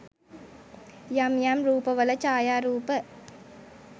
යම් යම් රූපවල ඡායරූප